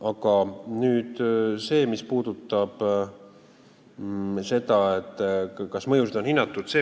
Aga nüüd sellest, kas mõjusid on hinnatud.